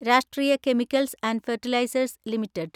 രാഷ്ട്രീയ Chemicals and Fertilizers limited